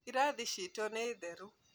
Irathi ciitu nĩ theru